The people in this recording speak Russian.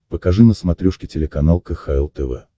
покажи на смотрешке телеканал кхл тв